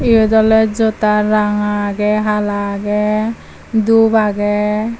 eyot oley jota ranga aagey hala aagey dup aagey.